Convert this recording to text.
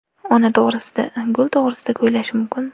Ona to‘g‘risida, gul to‘g‘risida kuylash mumkin.